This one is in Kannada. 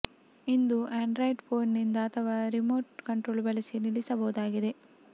ಇದನ್ನು ಆಂಡ್ರಾಯ್ಡ್ ಪೋನಿನಿಂದ ಅಥವಾ ರಿಮೋಟ್ ಕಂಟ್ರೋಲ್ ಬಳಸಿ ನಿಲ್ಲಿಸ ಬಹುದಾಗಿದೆ